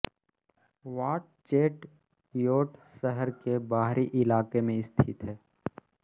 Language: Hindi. वाट चेट योट शहर के बाहरी इलाके में स्थित है